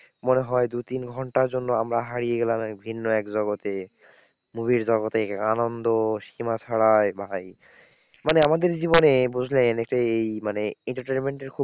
মনে হয় দু তিন ঘন্টার জন্য আমরা হারিয়ে গেলাম এক ভিন্ন এক জগতে movie র জগতে, আনন্দ সীমা ছাড়ায় ভাই। মানে আমাদের জীবনে বুঝলেন সেই মানে entertainment এর খুব,